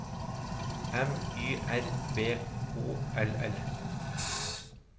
M Y R V O L L